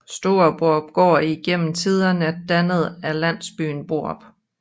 Store Borupgård er gennem tiderne dannet af landsbyen Borup